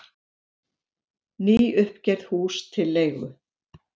Nýuppgerð hús til leigu